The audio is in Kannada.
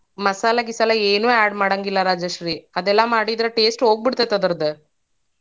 ಮಸಾಲಾ ಗಿಸಾಲಾ ಏನೂ add ಮಾಡಂಗಿಲಾ ರಾಜಶ್ರೀ ಅದೆಲ್ಲಾ ಮಾಡಿದ್ರ taste ಹೋಗಿ ಬಿಡತೇತಿ ಅದರ್ದ್.